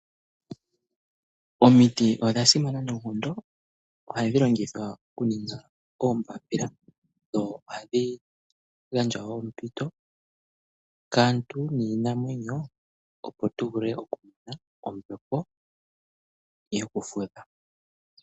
Omiti odhasimana noonkondo ohadhi longithwa okuninga oombapila. Ohadhi gandja ombepo yokufudha kaantu nokiinamwenyo.